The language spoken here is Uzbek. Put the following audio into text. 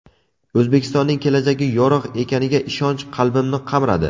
O‘zbekistonning kelajagi yorug‘ ekaniga ishonch qalbimni qamradi”.